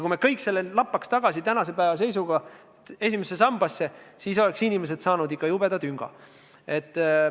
Kui me kogu selle summa lappaks tänase päeva seisuga tagasi esimesse sambasse, siis saaksid inimesed ikka jubedalt tünga.